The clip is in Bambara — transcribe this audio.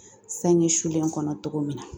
Sange sulen kɔnɔ cogo min na